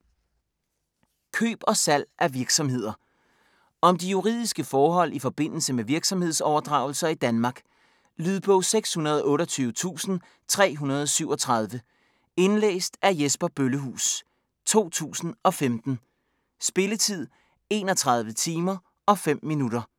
Køb og salg af virksomheder Om de juridiske forhold i forbindelse med virksomhedsoverdragelser i Danmark. Lydbog 628337 Indlæst af Jesper Bøllehuus, 2015. Spilletid:31 timer, 05 minutter.